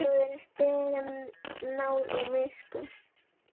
Áhorfandinn hljóðar upp, biður um náð og miskunn.